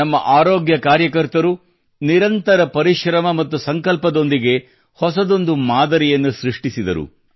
ನಮ್ಮ ಆರೋಗ್ಯ ಕಾರ್ಯಕರ್ತರು ನಿರಂತರ ಪರಿಶ್ರಮ ಮತ್ತು ಸಂಕಲ್ಪದೊಂದಿಗೆ ಹೊಸದೊಂದು ಮಾದರಿಯನ್ನು ಸೃಷ್ಟಿಸಿದರು